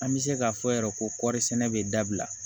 An bɛ se k'a fɔ yɛrɛ ko kɔri sɛnɛ bɛ dabila